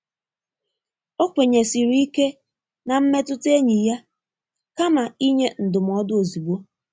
Ọ kwenyesiri ike na mmetụta enyi ya kama inye ndụmọdụ ozugbo.